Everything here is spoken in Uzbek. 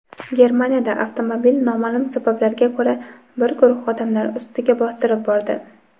Germaniyada avtomobil noma’lum sabablarga ko‘ra bir guruh odamlar ustiga bostirib bordi.